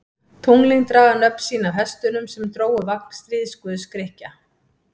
Tunglin draga nöfn sín af hestunum sem drógu vagn stríðsguðs Grikkja.